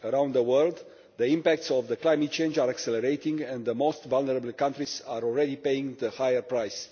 Around the world the impact of climate change is accelerating and the most vulnerable countries are already paying the higher price.